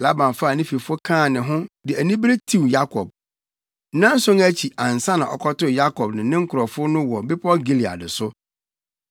Laban faa ne fifo kaa ne ho, de anibere tiw Yakob. Nnanson akyi ansa na ɔkɔtoo Yakob ne ne nkurɔfo no wɔ bepɔw Gilead so.